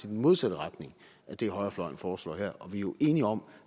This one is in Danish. modsatte retning af det højrefløjen foreslår her og vi er jo enige om